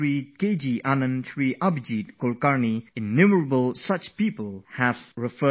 Anand, ShriAbhijeet Kulkarni... countless people have spoken about meditation and emphasized the beneficial effect of Yoga